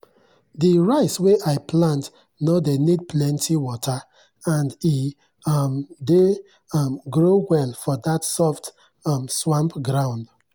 the rice wey i plant no dey need plenty water and e um dey um grow well for that soft um swamp ground.